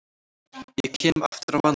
Ég kem aftur á mánudag.